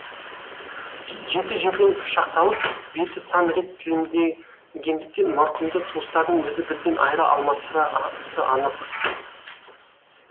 жеті жерден пышақталып беті сан рет тілімденгендіктен марқұмды туыстарының өзі бірден айыра алмасы анық